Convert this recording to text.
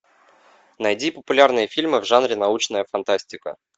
найди популярные фильмы в жанре научная фантастика